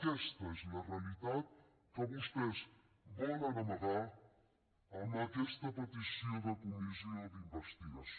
aquesta és la realitat que vostès volen amagar amb aquesta petició de comissió d’investigació